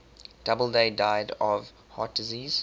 doubleday died of heart disease